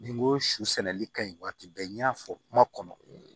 Nin n ko su sɛnɛli ka ɲi waati bɛɛ n y'a fɔ kuma kɔnɔ